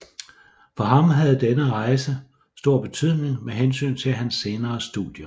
For ham havde denne rejse stor betydning med hensyn til hans senere studier